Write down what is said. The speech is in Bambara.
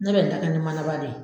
Ne bɛ n ta kɛ nin mana ba de ye.